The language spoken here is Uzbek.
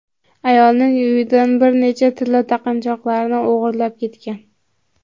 ayolning uyidan bir nechta tilla taqinchoqlarni o‘g‘irlab ketgan.